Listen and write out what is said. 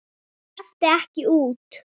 Hún sleppur ekki út.